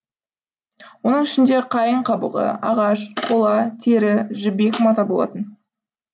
оның ішінде қайың қабығы ағаш қола тері жібек мата болатын